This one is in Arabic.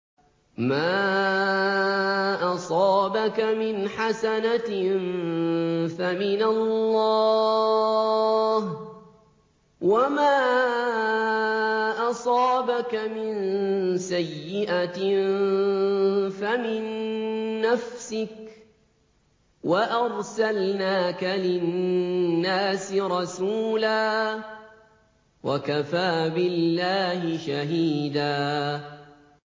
مَّا أَصَابَكَ مِنْ حَسَنَةٍ فَمِنَ اللَّهِ ۖ وَمَا أَصَابَكَ مِن سَيِّئَةٍ فَمِن نَّفْسِكَ ۚ وَأَرْسَلْنَاكَ لِلنَّاسِ رَسُولًا ۚ وَكَفَىٰ بِاللَّهِ شَهِيدًا